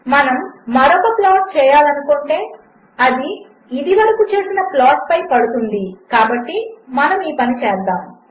మనముమరొకప్లాట్చేయాలనిఅనుకుంటేఅదిఇదివరకుచేసినప్లాటుపైపడుతుందికాబట్టిమనముఈపనిచేస్తాము